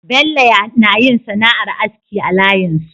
Bello nayin sana'ar aski a layin su